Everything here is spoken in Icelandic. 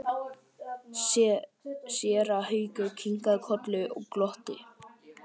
Séra Haukur kinkaði kolli og glotti.